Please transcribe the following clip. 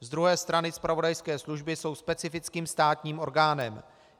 Z druhé strany zpravodajské služby jsou specifickým státním orgánem.